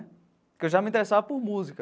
Porque eu já me interessava por música.